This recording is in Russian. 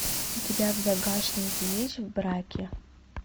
у тебя в загашнике есть в браке